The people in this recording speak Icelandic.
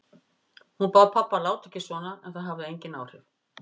Hún bað pabba að láta ekki svona en það hafði engin áhrif.